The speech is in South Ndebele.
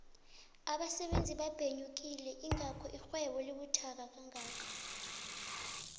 abasebebzi babhenyogile ingakho irhwebo ibuthaka kangaka